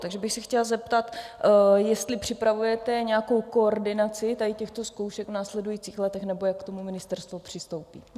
Takže bych se chtěla zeptat, jestli připravujete nějakou koordinaci tady těchto zkoušek v následujících letech nebo jak k tomu ministerstvo přistoupí.